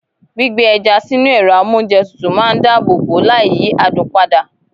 Gbígbé ẹja sínú ẹrọ amounjẹ tútù máa n dáàbò bo láì yí adùn pada.